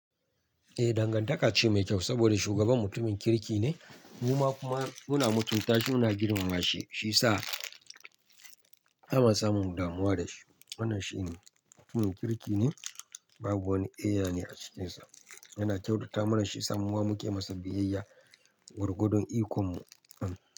Eh, dangantaka ce mai kyau saboda shugaban mutumin kirki ne. Mu ma kuma muna mutunta shi, muna girmama shi, shi sa ana samu damuwa da shi. Wannan shi ne, mutumin kirki ne, babu wani eya ne a cikinsa. Yana kyautata mana shiyasa muma muke masa biyayya, gwargwadon ikon mu. An.